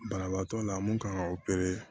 Banabaatɔ la mun kan ka